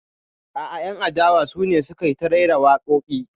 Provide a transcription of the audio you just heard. A'a, 'yan adawa su ne suka yi ta rera waƙoƙi.